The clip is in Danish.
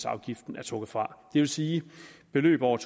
afgift er trukket fra det vil sige at beløb over